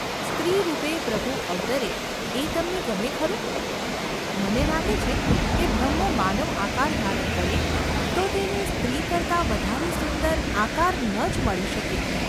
‘સ્ત્રીરૂપે પ્રભુ અવતરે એ તમને ગમે ખરું ?’ ‘મને લાગે છે કે બ્રહ્મ માનવઆકાર ધારણ કરે તો તેને સ્ત્રી કરતાં વધારે સુંદર આકાર ન જ મળી શકે.